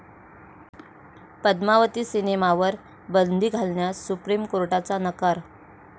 पद्मावती' सिनेमावर बंदी घालण्यास सुप्रीम कोर्टाचा नकार